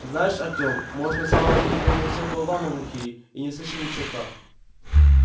знаешь артём может на самом деле мы все болваны глухие и не слышим ни черта